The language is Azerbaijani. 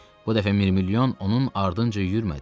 Bu dəfə Mirmilyon onun ardınca yüyürmədi.